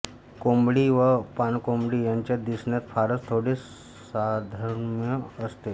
कोबंडी व पाणकोंबडी यांच्यात दिसण्यात फारच थोडे साधर्म्य असते